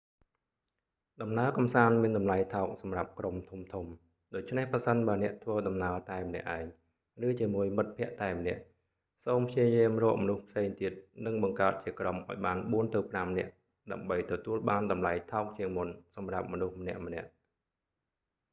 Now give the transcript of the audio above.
ដំណើរកម្សាន្តមានតម្លៃថោកសម្រាប់ក្រុមធំៗ ដូច្នេះប្រសិនបើអ្នកធ្វើដំណើរតែម្នាក់ឯង ឬជាមួយមិត្តភក្តិតែម្នាក់ សូមព្យាយាមរកមនុស្សផ្សេងទៀត និងបង្កើតជាក្រុមឱ្យបានបួនទៅប្រាំនាក់ ដើម្បីទទួលបានតម្លៃថោកជាងមុនសម្រាប់មនុស្សម្នាក់ៗ